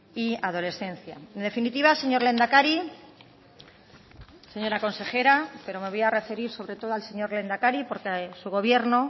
y adolescencia en definitiva señor lehendakari señora consejera pero me voy a referir sobre todo al señor lehendakari porque su gobierno